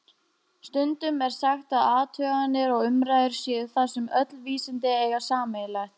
Stundum er sagt að athuganir og umræður séu það sem öll vísindi eiga sameiginlegt.